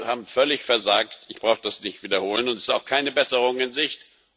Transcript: Wir haben völlig versagt, ich brauche das nicht zu wiederholen, und es ist auch keine Besserung in Sicht.